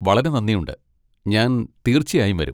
വളരെ നന്ദിയുണ്ട്, ഞാൻ തീർച്ചയായും വരും!